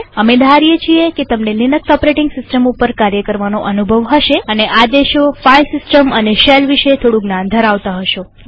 અમે ધારીએ છીએ કે તમને લિનક્સ ઓપરેટીંગ સિસ્ટમ ઉપર કાર્ય કરવાનો અનુભવ હશે અને આદેશોફાઈલ સિસ્ટમ અને શેલ વિશે થોડું જ્ઞાન ધરાવતા હશો